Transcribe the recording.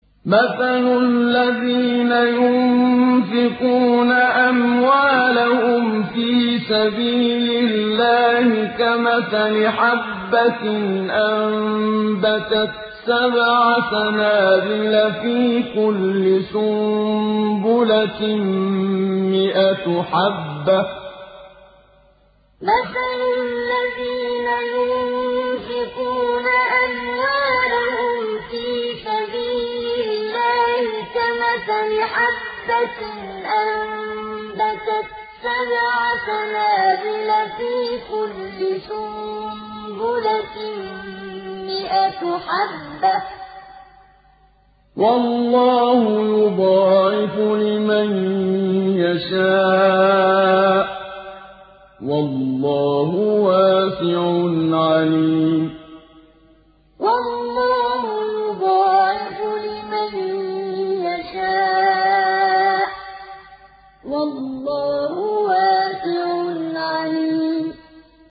مَّثَلُ الَّذِينَ يُنفِقُونَ أَمْوَالَهُمْ فِي سَبِيلِ اللَّهِ كَمَثَلِ حَبَّةٍ أَنبَتَتْ سَبْعَ سَنَابِلَ فِي كُلِّ سُنبُلَةٍ مِّائَةُ حَبَّةٍ ۗ وَاللَّهُ يُضَاعِفُ لِمَن يَشَاءُ ۗ وَاللَّهُ وَاسِعٌ عَلِيمٌ مَّثَلُ الَّذِينَ يُنفِقُونَ أَمْوَالَهُمْ فِي سَبِيلِ اللَّهِ كَمَثَلِ حَبَّةٍ أَنبَتَتْ سَبْعَ سَنَابِلَ فِي كُلِّ سُنبُلَةٍ مِّائَةُ حَبَّةٍ ۗ وَاللَّهُ يُضَاعِفُ لِمَن يَشَاءُ ۗ وَاللَّهُ وَاسِعٌ عَلِيمٌ